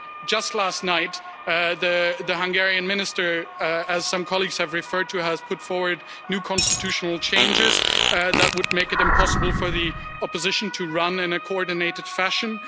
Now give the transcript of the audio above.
Just last night, the Hungarian minister, as some colleagues have referred to, has put forward new constitutional changes that would make it impossible for the opposition to run in a coordinated fashion.